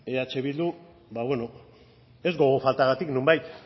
eh bildu ba bueno ez gogo faltagatik nonbait